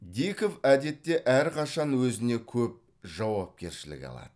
диков әдетте әрқашан өзіне көп жауапкершілік алады